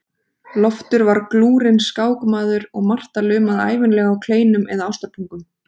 Loftur var glúrinn skákmaður og Marta lumaði ævinlega á kleinum eða ástarpungum.